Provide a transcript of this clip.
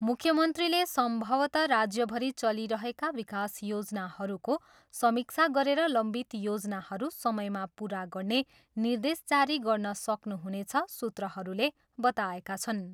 मुख्यमन्त्रीले सम्भवतः राज्यभरि चलिरहेका विकास योजनाहरूको समीक्षा गरेर लम्बित योजनाहरू समयमा पुरा गर्ने निर्देश जारी गर्न सक्नुहुनेछ सूत्रहरूले बताएका छन्।